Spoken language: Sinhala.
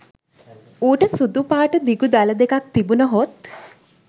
ඌට සුදු පාට දිගු දළ දෙකක් තිබුණහොත්